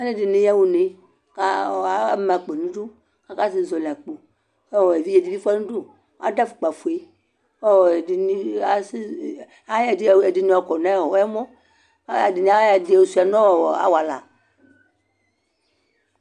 Alu ɛdini yaɣa unekʋ ama akpo niduakasɛzɔli akpokʋ evidze dibi fuanʋdu, kʋ adʋ afukpa'fuekʋ ɔɔ ɛdini, asi ayɔ ɛdini yɔkɔ nɛmɔKʋ ɛdini ayɔ ɛdi yɔ suisa nʋ ɔɔɔ awala